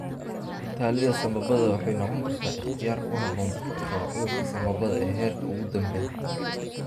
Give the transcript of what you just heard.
Ku-tallaalidda sambabada waxay noqon kartaa ikhtiyaar ku habboon dadka qaba cudurka sambabada ee heerka ugu dambeeya.